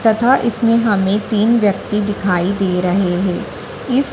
तथा इसमें हमें तीन व्यक्ति दिखाई दे रहे हैं इस--